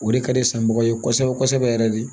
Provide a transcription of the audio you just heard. O de ka di sanbaga ye kosɛbɛ kosɛbɛ yɛrɛ de